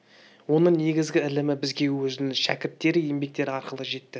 оның негізгі ілімі бізге өзінің шәкірттері еңбектері арқылы жетті